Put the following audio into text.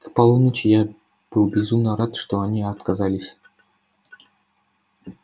к полуночи я был безумно рад что они отказались